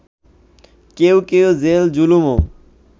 কেউ কেউ জেল-জুলুমও